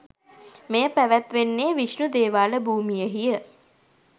මෙය පැවැත්වෙන්නේ විෂ්ණු දේවාල භූමියෙහි ය.